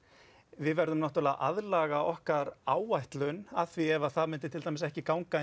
við verðum að aðlaga okkar áætlun að því ef það myndi til dæmis ekki ganga